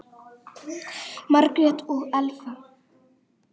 Margrét og Elfa.